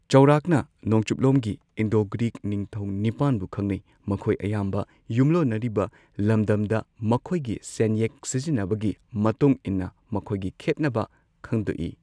ꯆꯧꯔꯥꯛꯅ ꯅꯣꯡꯆꯨꯞꯂꯣꯝꯒꯤ Indo Greek ꯅꯤꯡꯊꯧ ꯅꯤꯄꯥꯟꯕꯨ ꯈꯪꯅꯩ ꯃꯈꯣꯏ ꯑꯌꯥꯝꯕ ꯌꯨꯝꯂꯣꯟꯅꯔꯤꯕ ꯂꯝꯗꯝꯗ ꯃꯈꯣꯏꯒꯤ ꯁꯦꯟꯌꯦꯛ ꯁꯤꯖꯤꯟꯅꯕꯒꯤ ꯃꯇꯨꯡ ꯏꯟꯅ ꯃꯈꯣꯏꯒꯤ ꯈꯦꯠꯅꯕ ꯈꯪꯗꯣꯛꯏ꯫